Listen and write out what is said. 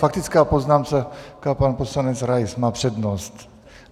Faktická poznámka, pan poslanec Rais má přednost.